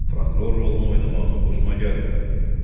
Prokuror rolunu oynamağın xoşuma gəlmir dedi.